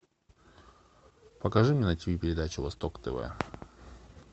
покажи мне на тиви передачу восток тв